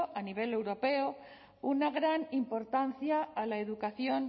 a nivel europeo una gran importancia a la educación